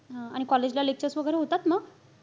हा आणि college ला lectures वगैरे होतात ना?